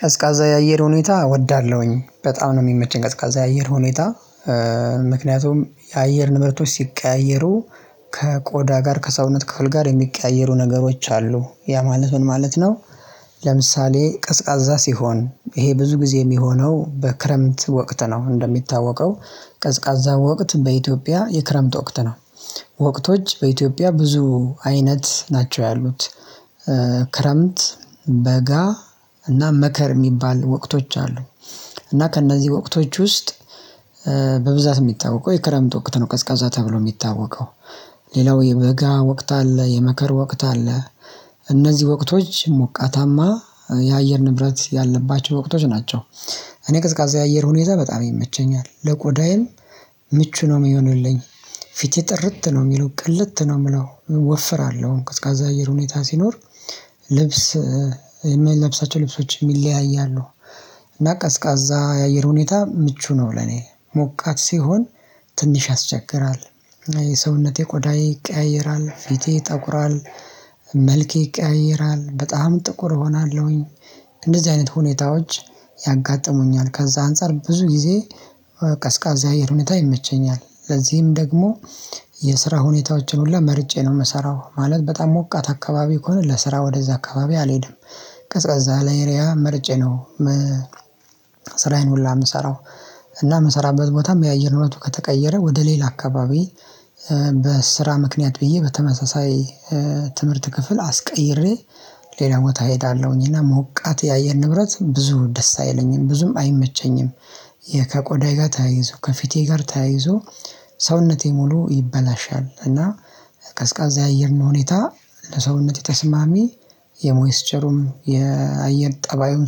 ቀዝቃዛ የአየር ሁኔታ ወዳለሁኝ በጣም ነው የሚመቸኝ ቀዝቃዛ የአየር ሁኔታ። ምክንያቱም የአየር ንብረቶች ሲቀያየሩ ከቆዳ ጋር ከሰውነት ክፍል ጋር የሚቀያየሩ ነገሮች አሉ ያ ማለት ምን ማለት ነው? ለምሳሌ ቅዝቃዛ ሲሆን ይሄ ብዙ ጊዜ የሚሆነው በክረምት ወቅት ነው እንደሚታወቀው። ቀዝቃዛ ወቅት በኢትዮጵያ የክረምት ወቅት ነው። ወቅቶች በኢትዮጵያ ብዙ አይነት ናቸው ያሉት። ክረምት በጋ እና መከር የሚባል ወቅቶች አሉ። እና ከእነዚህ ወቅቶች ውስጥ በብዛት የሚታወቀው የክረምት ወቅት ነው ቀዝቃዛ ተብሎ የሚታወቀው። ሌላው የበጋ ወቅት አለ፣ የመከር ወቅት አለ። እነዚህ ወቅቶች ሞቃታማ የአየር ንብረት ያለባቸው ወቅቶች ናቸው። እኔ ቅዝቃዜ የአየር ሁኔታ በጣም ይመቸኛል ለቆዳዬም ምቹ ነው የሚሆንልኝ። ፊቴ ጥርት ነው የሚለው ቅልት ነው የምለው ወፍራለሁ ቅስቀዛ አየር ሁኔታ ሲኖር። ልብስ የምለብሳቸው ልብሶች የሚለያያሉ። እና ቀዝቃዛ የአየር ሁኔታ ምቹ ነው ለኔ ሞቃት ሲሆን ትንሽ ያስቸግራል። የሰውነቴ ቆዳዬ ይቀያየራል ፊቴ ይጠቁራል። መልኬ ይቀየያራል በጣም ጥቁር እሆናለሁኝ። እንደዚህ አይነት ሁኔታዎች ያጋጥሙኛል ከዛ አንፃር ብዙ ጊዜ ቀስቃዛ ያአየር ሁኔታ ይመቸኛል። ለዚህም ደግሞ የስራ ሁኔታዎችን ሁላ መርጬ ነው የምሰራው ማለት በጣም ሞቃት አካባቢ ከሆነ ለስራ ወደዛ አካባቢ አልሄድም። ቀዝቃዛ ያለ እሪያ መርጬ ነው። ስራዬን ሁላ የምሰራው። እና የምሰራበት ቦታም የአየር እውነቱ ከተቀየረ ወደ ሌላ አካባቢ በስራ ምክንያት ብዬ በተመሳሳይ ትምህርት ክፍል አስቀይሬ ሌላ ቦታ እሄዳለሁኝ እና ሞቃት ያየር ንብረት ብዙ ደስ አይለኝም ብዙም አይመቸኝም። ከቆዳዬ ጋር ተያይዞ ከፊቴ ጋር ተያይዞ ሰውነቴ ሙሉ ይበላሻል። እና ቀዝቃዛ የአየር ነው ሁኔታ ለሰውነት የተስማሚ የሞይስ ቸሩም የአየር ጠባዩን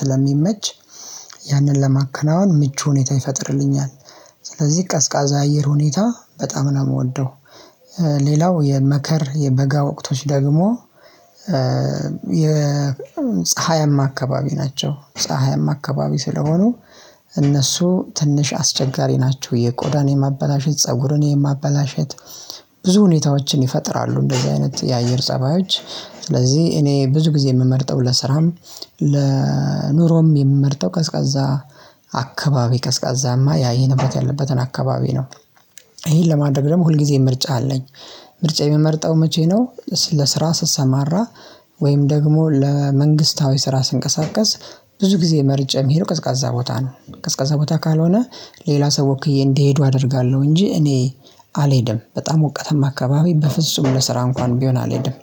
ስለሚመች። ያንን ለማከናወን ምቹ ሁኔታ ይፈጥርልኛል። ስለዚህ ቀዝቃዛ አየር ሁኔታ በጣም ነው የምወደው። ሌላው የመከር የበጋ ወቅቶች ደግሞ የ የፀሀይም አካባቢ ናቸው ፀሀይም አካባቢ ስለሆኑ እነሱ ትንሽ አስቸጋሪ ናቸው። የቆዳን የማበላሸት ፀጉርን የማበላሸት ብዙ ሁኔታዎችን ይፈጥራሉ። እንደዚህ አይነት የአየር ፀባዮች ስለዚህ እኔ ብዙ ጊዜ የምመርጠው ለስራም ለኑሮም የምመርጠው ቀዝቃዛ አካባቢ ቀዝቃዛማ ያየር ንብረት ያለበትን አካባቢ ነው። ይሄን ለማድረግ ደግሞ ሁልጊዜም ምርጫ አለኝ። ምርጫ የምመርጠው መቼ ነው? ለስራ ስሰማራ ወይም ደግሞ ለመንግስታዊ ስራ ስንቀሳቀስ ብዙ ጊዜ መርጬ የሚሄደው ቀዝቃዛ ቦታ ነው። ቀዝቃዛ ቦታ ካልሆነ ሌላ ሰው ወክዬ እንዲሄዱ አደርጋለሁ እንጂ እኔ አልሄድም በጣም ወቀተም አካባቢ በፍጹም ለስራ እንኳን ቢሆን አልሄድም።